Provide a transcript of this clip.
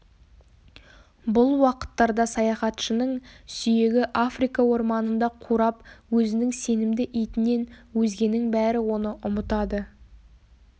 бұл уақыттарда саяхатшының сүйегі африка орманында қурап өзінің сенімді итінен өзгенің бәрі оны ұмытады